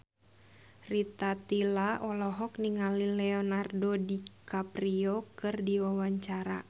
Rita Tila olohok ningali Leonardo DiCaprio keur diwawancara